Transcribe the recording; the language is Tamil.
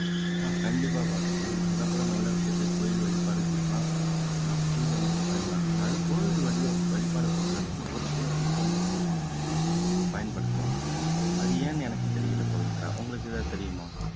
ஆஹ் கண்டிப்பா பாரதி நீங்க சொல்ற போல நல்ல விஷயத்துக்கு கோயில் வழிபாடுகளுக்கெல்லாம் ஆஹ் பூ வந்து பயன்படுது அதாவது கோவில் வழிப வழிபாட பொறுத்த வரைக்கும் ஒரு சில பூக்களை மட்டும் தான் பயன்படுத்துவாங்க அது ஏன்னு எனக்கு தெரியல பவித்ரா உங்களுக்கு எதாவது தெரியுமா